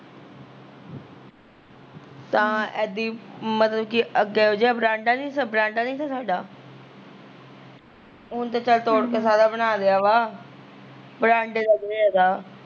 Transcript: ਤਾਂ ਏਦੀ ਈ ਮਤਲਬ ਕੀ ਅੱਗਾ ਜਿਹਾ ਵਰਾਂਡਾ ਸੀ ਵਰਾਂਡਾ ਨੀ ਤਾ ਸਾਡਾ ਹੁਣ ਤਾਂ ਚੱਲ ਤੋੜ ਕੇ ਸਾਰਾ ਬਣਾ ਲਿਆ ਵਾ ਵਰਾਂਡੇ ਦਾ ਗਿਰੀਆ ਤਾ